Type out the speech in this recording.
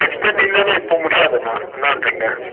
இப்ப முடியாது அண்ணா என்னான்றிங்க ?